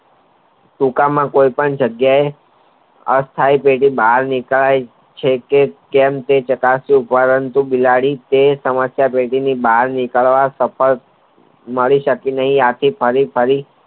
સૂકામાં કોઈ પણ જાંગીયા એ અસ્થાયી બહાર નીકળાય છે તે તેમ કોઈ પ્રકારે પરંતુ બિલાડી સમસ્યા ટેટીની બહાર નીકરવા સફતલા મળી નહિ આથી ફરી ફરી